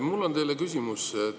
Mul on teile küsimus.